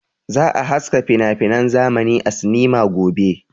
Za a haska finafinan zamani a sinima gobe.